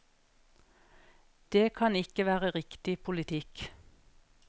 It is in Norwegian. Det kan ikke være riktig politikk.